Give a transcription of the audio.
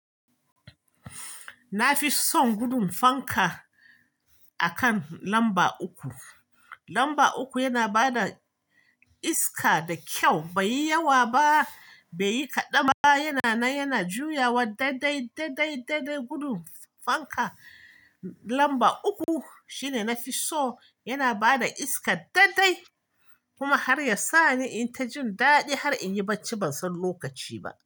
Na fi son gudum fanka akan lamba uku. Lamba uku yana ba da iska da kyau, bai yi yawa ba, bai yi kaɗanba. Yana nan, yana juyawa daidai, daidai, daidai gudum fanka lamba uku shine nafi so. Yana ba da iska daidai kuma har ya sa ni in yi ta jin daɗi har in yi bacci ban san lokaci ba.